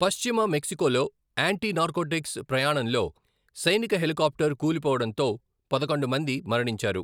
పశ్చిమ మెక్సికోలో anti narcotics ప్రయాణంలో సైనిక హెలికాప్టర్ కూలిపోవడంతో పదకొండు మంది మరణించారు.